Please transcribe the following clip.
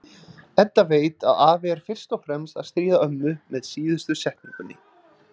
Edda veit að afi er fyrst og fremst að stríða ömmu með síðustu setningunni.